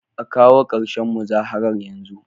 A kawo karshen muzaharar yanzu!